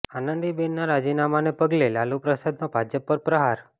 આનંદીબેનના રાજીનામાને પગલે લાલુ પ્રસાદનો ભાજપ પર પ્રહાર